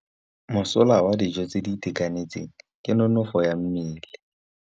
Mosola wa dijô tse di itekanetseng ke nonôfô ya mmele.